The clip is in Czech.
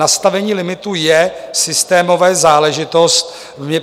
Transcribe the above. Nastavení limitů je systémová záležitost.